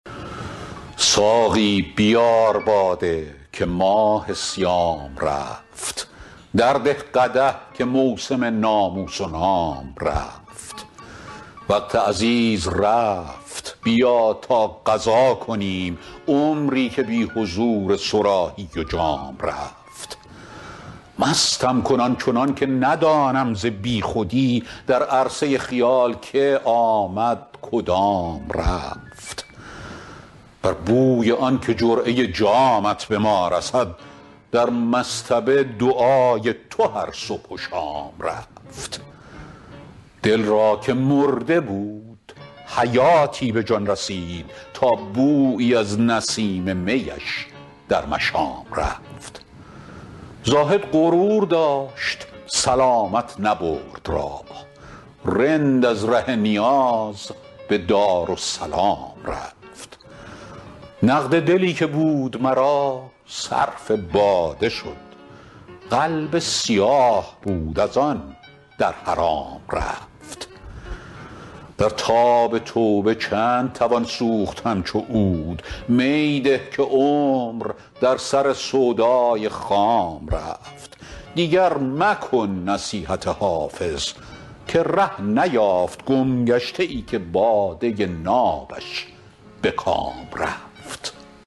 ساقی بیار باده که ماه صیام رفت درده قدح که موسم ناموس و نام رفت وقت عزیز رفت بیا تا قضا کنیم عمری که بی حضور صراحی و جام رفت مستم کن آن چنان که ندانم ز بی خودی در عرصه خیال که آمد کدام رفت بر بوی آن که جرعه جامت به ما رسد در مصطبه دعای تو هر صبح و شام رفت دل را که مرده بود حیاتی به جان رسید تا بویی از نسیم می اش در مشام رفت زاهد غرور داشت سلامت نبرد راه رند از ره نیاز به دارالسلام رفت نقد دلی که بود مرا صرف باده شد قلب سیاه بود از آن در حرام رفت در تاب توبه چند توان سوخت همچو عود می ده که عمر در سر سودای خام رفت دیگر مکن نصیحت حافظ که ره نیافت گمگشته ای که باده نابش به کام رفت